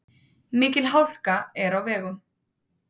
Mikil hálka er á vegum.